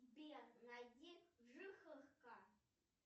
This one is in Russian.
сбер найди жихарка